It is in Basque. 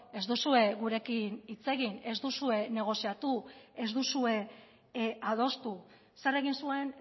ez duzue gurekin hitz egin ez duzue negoziatu ez duzue adostu zer egin zuen